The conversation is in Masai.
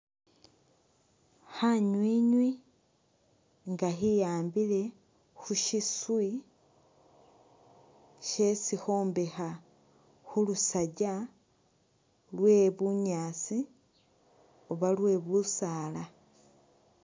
Khanywinywi nga khiyambile khu shiswi shesi khombekha khulusaja lwe bunyaasi Oba lwe bisaala .